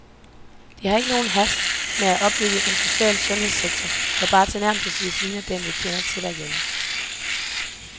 Det har heller ikke nogen hast med at opbygge en social sundhedssektor, der bare tilnærmelsesvis ligner den, vi kender til herhjemme.